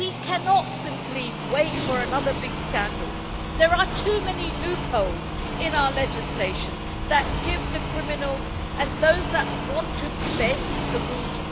We cannot simply wait for another big scandal. There are too many loopholes in our legislation that give opportunities to criminals and those who want to bend the rules.